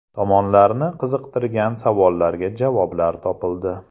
Tomonlarni qiziqtirgan savollarga javoblar topildi.